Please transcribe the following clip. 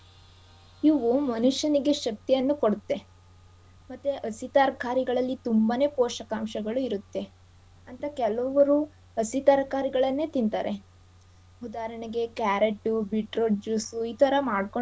ಇವು ಮನುಷ್ಯನಿಗೆ ಶಕ್ತಿಯನ್ನು ಕೊಡುತ್ತೆ. ಮತ್ತೆ ಹಸಿ ತರಕಾರಿಗಳಲ್ಲಿ ತುಂಬಾನೇ ಪೋಷಕಾಂಶಗಳು ಇರತ್ತೆ. ಅಂತ ಕೆಲವರು ಹಸಿ ತರಕಾರಿಗಳನ್ನೇ ತಿಂತಾರೆ. ಉದಾಹರಣೆಗೆ carrot beetroot juice ಈ ಥರ ಮಾಡ್ಕೊಂಡು.